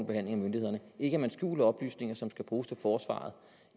behandling af myndighederne ikke at man skjuler oplysninger som skal bruges af forsvaret